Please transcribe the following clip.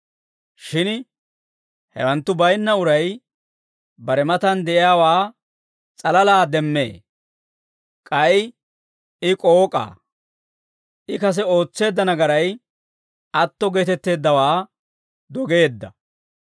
Shin hewanttu baynna uray bare matan de'iyaawaa s'alalaa demmee; k'ay I k'ook'aa; I kase ootseedda nagaray atto geetetteeddawaa dogeedda.